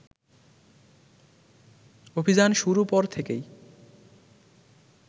অভিযান শুরু পর থেকেই